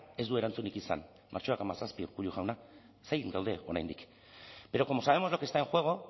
ez du erantzunik izan martxoak hamazazpi urkullu jauna zain gaude oraindik pero como sabemos lo que está en juego